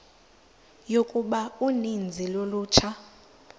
yokuba uninzi lolutsha